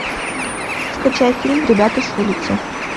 скачай фильм ребята с улицы